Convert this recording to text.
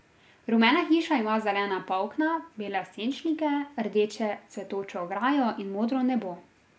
Rumena hiša ima zelena polkna, bele senčnike, rdeče cvetočo ograjo in modro nebo.